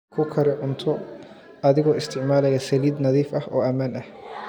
Ku kari cunto adigoo isticmaalaya saliid nadiif ah oo ammaan ah.